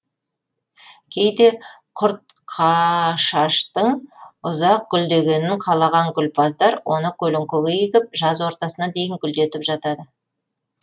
кейде құртқашаштың ұзақ гүлдегенін қалаған гүлпаздар оны көлеңкеге егіп жаз ортасына дейін гүлдетіп жатады